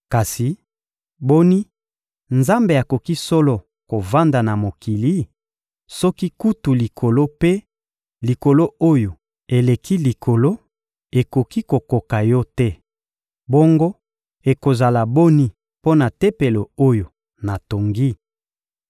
Kasi, boni, Nzambe akoki solo kovanda na mokili? Soki kutu Likolo mpe Likolo oyo eleki likolo ekoki kokoka Yo te, bongo ekozala boni mpo na Tempelo oyo natongi!